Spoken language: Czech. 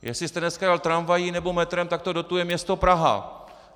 Jestli jste dneska jel tramvají nebo metrem, tak to dotuje město Praha.